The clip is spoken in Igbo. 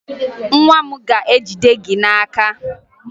Nwa m ga-ejide gị n'aka